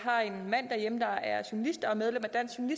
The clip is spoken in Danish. har en mand derhjemme der er journalist og medlem